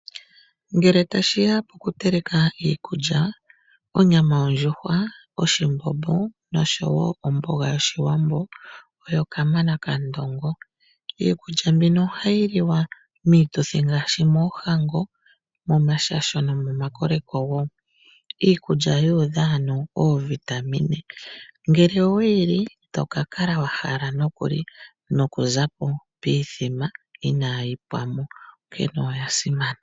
Ngele tashi ya kokuteleka iikulya, onyama yondjuhwa, oshimbombo nosho wo omboga yOshiwambo oyo kamana kandongo. Iikulya mbino ohayi liwa miituthi ngaashi moohango, momashasho nomomakoleko wo. Iikulya yu udha ano oovitamine, ngele owe yi li ito ka kala wa hala nokuli noku zapo piithima inaayi pwa mo, onkene oya simana.